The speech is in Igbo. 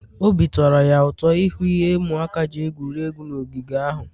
obi tọrọ ya ụtọ ịhụ ihe ụmụaka ji egwuri egwu n'ogige ahụ